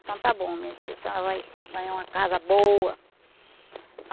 Então está bom, minha filha, senhora vai ganhar uma casa boa.